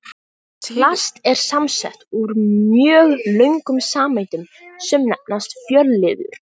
Plast er samsett úr mjög löngum sameindum sem nefnast fjölliður.